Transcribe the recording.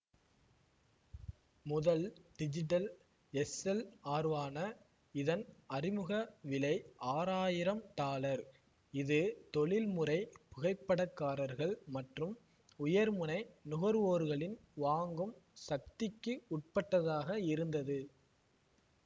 முதல் டிஜிடல் எஸ்எல்ஆர்வான இதன் அறிமுக விலை ஆறாயிரம் டாலர் இது தொழில் முறை புகைப்படக்காரர்கள் மற்றும் உயர்முனை நுகர்வோர்களின் வாங்கும் சக்திக்கு உட்பட்டதாக இருந்தது